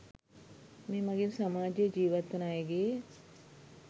මේ මගින් සමාජයේ ජීවත්වන අයගේ